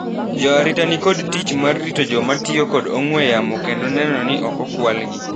Joarita nikod tich mar rito joma tio kod ong'we yamo kendo neno ni okokwal gi.